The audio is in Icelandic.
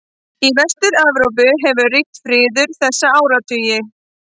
Í Vestur-Evrópu hefur ríkt friður þessa áratugi.